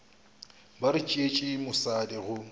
ba re tšeetše mosadi go